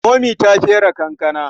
Momi ta fere kankana.